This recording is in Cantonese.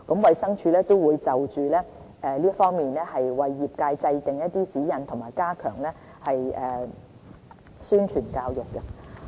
衞生署亦會就此為業界制訂指引和加強宣傳教育。